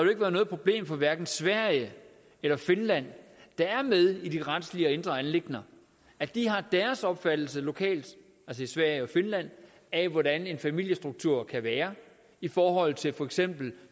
ikke været noget problem for hverken sverige eller finland der er med i de retslige og indre anliggender at de har deres opfattelse lokalt altså i sverige og finland af hvordan en familiestruktur kan være i forhold til for eksempel